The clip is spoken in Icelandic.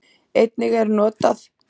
Einnig er notað